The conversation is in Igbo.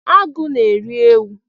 Agụ na-eri ewu